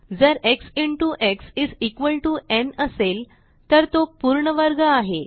जर x into x is equal to n असेल तर तो पूर्ण वर्ग आहे